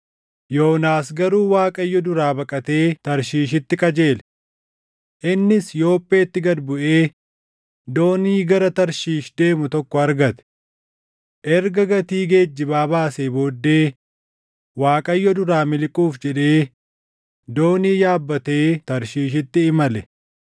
Yoonaas garuu Waaqayyo duraa baqatee Tarshiishitti qajeele. Innis Yoopheetti gad buʼee doonii gara Tarshiish deemu tokko argate. Erga gatii geejjibaa baasee booddee Waaqayyo duraa miliquuf jedhee doonii yaabbatee Tarshiishitti imale.